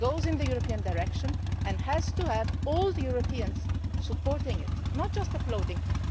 It goes in the European direction and has to have all Europeans supporting it and not just applauding it.